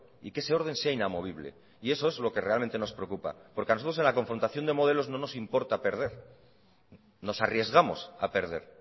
y que ese orden sea inamovible y eso es lo que realmente nos preocupa porque a nosotros en la confrontación de modelos no nos importa perder nos arriesgamos a perder